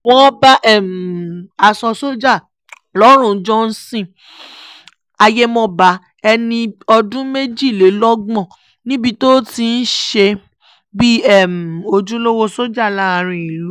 wọ́n bá aṣọ sójà lọ́rùn johnson ayémọ́ba ẹni ọdún méjìlélọ́gbọ̀n níbi tó ti ń ṣe bíi ojúlówó sójà láàrin ìlú